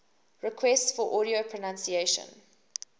requests for audio pronunciation